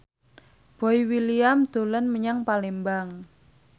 Boy William dolan menyang Palembang